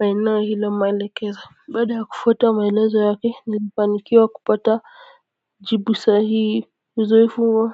maeneo hilo maelekeza baada yakufuata maelezo yake nilifanikiwa kupata jibu sahii uzoefu huo.